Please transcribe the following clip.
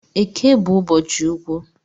Eke bu ụbọchị ukwu